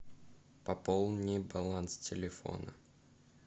пополни баланс телефона